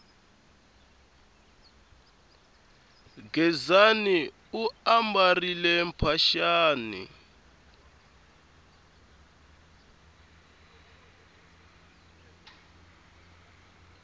gezani u ambarile mphaxani